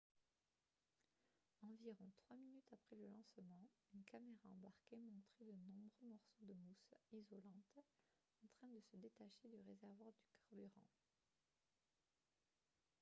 environ trois minutes après le lancement une caméra embarquée montrait de nombreux morceaux de mousse isolante en train de se détacher du réservoir de carburant